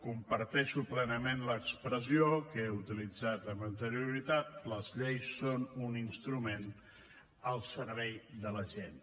comparteixo plenament l’expressió que he utilitzat amb anterioritat les lleis són un instrument al servei de la gent